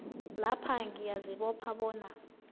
lapha ngiyazibopha bona